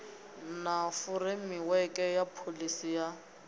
na furemiweke ya pholisi ya